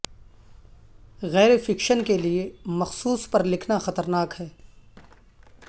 غیر فکشن کے لئے مخصوص پر لکھنا خطرناک ہے